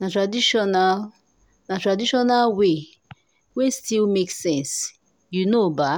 na traditional na traditional way wey still make sense you know ba.